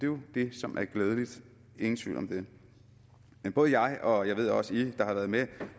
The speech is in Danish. jo det som er glædeligt ingen tvivl om det men både jeg og jeg ved også i der har været med